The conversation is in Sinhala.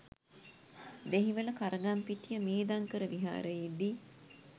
දෙහිවල කරගම්පිටිය මේධංකර විහාරයේදී